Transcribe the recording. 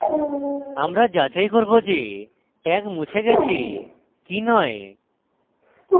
আমরা যাচাই করব যে tag মুছে গেছে কি নয়